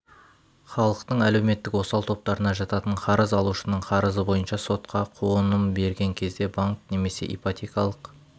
халықтың әлеуметтік осал топтарына жататын қарыз алушының қарызы бойынша сотқа қуыным берген кезде банк немесе ипотекалық